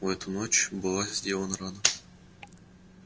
в эту ночь была сделана рано